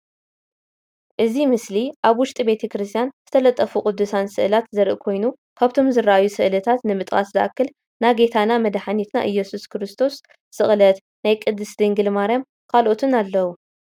እዚ ምስሊ አብ ውሽጢ ቤተ ክርስትያን ዝተለጠፉ ቅዱሳት ስእላት ዘርኢ ኮይኑ ካብቶም ዝረአዩ ስእሊታት ንምጥቃስ ዝአክል ና ጌታና መድሓኒትና ኢሱስ ክርስቶስ ስቅለት፣ ናይ ቅድስት ድንግል ማርያምን ካልኦትን አለዉ፡፡